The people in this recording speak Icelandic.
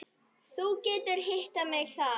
Þú getur hitt mig þar.